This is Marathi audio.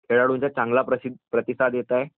खेळाडूंचा चांगला प्रतिसाद येत आहे